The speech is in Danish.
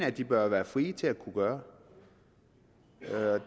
at de bør være frie til at kunne gøre